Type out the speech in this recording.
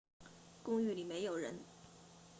公寓里没有人